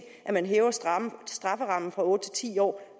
at man hæver strafferammen fra otte til ti år